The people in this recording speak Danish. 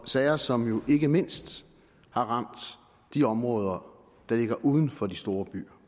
sager som jo ikke mindst har ramt de områder der ligger uden for de store byer